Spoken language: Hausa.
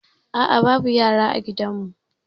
A'a babu yara a gidanmu.